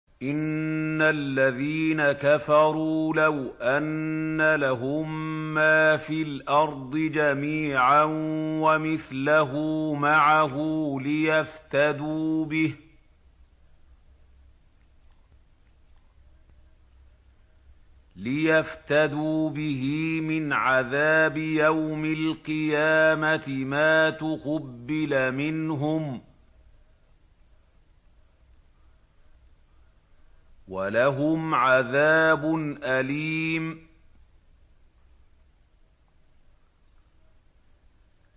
إِنَّ الَّذِينَ كَفَرُوا لَوْ أَنَّ لَهُم مَّا فِي الْأَرْضِ جَمِيعًا وَمِثْلَهُ مَعَهُ لِيَفْتَدُوا بِهِ مِنْ عَذَابِ يَوْمِ الْقِيَامَةِ مَا تُقُبِّلَ مِنْهُمْ ۖ وَلَهُمْ عَذَابٌ أَلِيمٌ